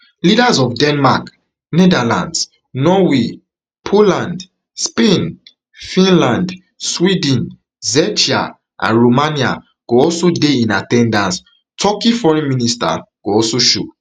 leaders of denmark netherlands norway poland spain finland sweden czechia and romania go also dey in at ten dance turkey foreign minister go also show